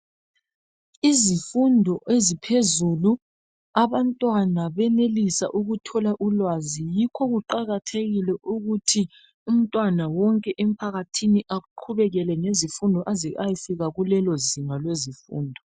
Izifundo eziphezulu, abantwana bayenelisa ukuthola ulwazi, yikho kuqakathekile ukuthi umntwana wonke empakathini aqhubeke ngezifundo aze ayefika kulelozinga lezifundo.